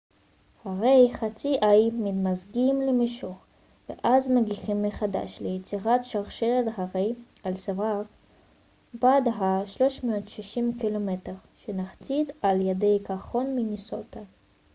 הרי חצי האי מתמזגים למישור ואז מגיחים מחדש ליצירת שרשרת הרי אלסוורת' בת ה-360 קילומטר שנחצית על ידי קרחון מינסוטה